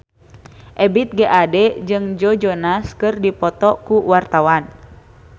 Ebith G. Ade jeung Joe Jonas keur dipoto ku wartawan